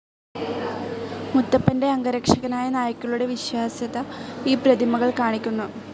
മുത്തപ്പന്റെ അംഗരക്ഷകരായ നായ്ക്കളുടെ വിശ്വാസ്യത ഈ പ്രതിമകൾ കാണിക്കുന്നു.